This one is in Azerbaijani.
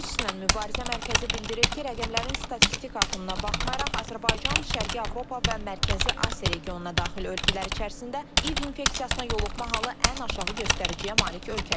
QİÇS-lə Mübarizə Mərkəzi bildirir ki, rəqəmlərin statistik artımına baxmayaraq, Azərbaycan Şərqi Avropa və Mərkəzi Asiya regionuna daxil ölkələr içərisində İİV infeksiyasına yoluxma halı ən aşağı göstəriciyə malik ölkədir.